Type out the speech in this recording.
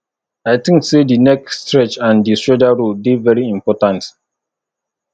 i think say di neck stretch and di shoulder roll dey very important